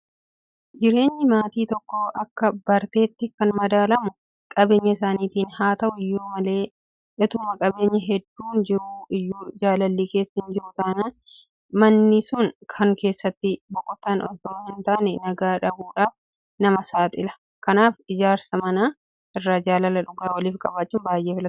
Jireenyi maatii tokkoo akka barteetti kan madaalamu qabeenya isaaniitiini. Haata'u iyyuu maler ituma qabeenyi hedduun jiruu iyyuu jaalalli keessa hinjiru taanaan manni sun kan keessatti boqotan itoo hintaane nagaa dhabuudhaaf nama saaxila. Kanaaf ijaarsa manaa irra jaalala dhugaa waliif qabaachuun baay'ee filatamaadha.